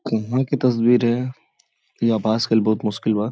कहाँ के तस्वीर है। ई आभास कइल बहुत मुश्किल बा।